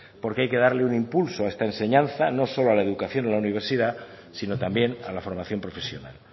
porque hay que darle un impulso a esta enseñanza no solo a la educación en la universidad sino también a la formación profesional